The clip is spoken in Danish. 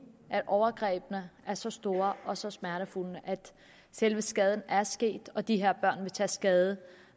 overgrebene er så store og så smertefulde at selve skaden er sket og de her børn vil så tage skade